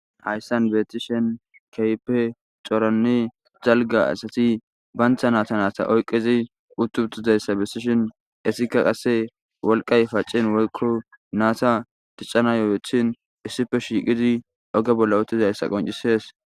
Hayisan betishin kehipe coora asati daliga asati banita nata nata oyikizi utiutizayisa besishin etika qase woliqay pacini woyiko nata dichanayo ixini issipe shiqidi oge bolla utizaysa beses